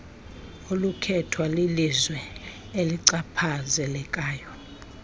olukhethwa lilizwe elichaphazelekayo